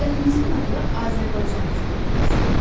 Dövlətimizin adı Azərbaycan Respublikasıdır.